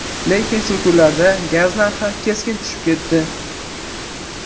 Lekin shu kunlarda gaz narxi keskin tushib ketdi.